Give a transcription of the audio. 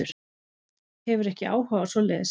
Hefur ekki áhuga á svoleiðis.